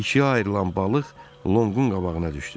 İkiyə ayrılan balıq Lonqun qabağına düşdü.